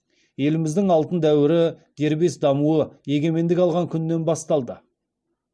еліміздің алтын дәуірі дербес дамуы егемендік алған күннен басталды